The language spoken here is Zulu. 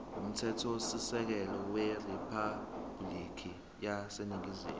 umthethosisekelo weriphabhulikhi yaseningizimu